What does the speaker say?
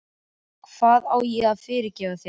Hvað á ég að fyrirgefa þér?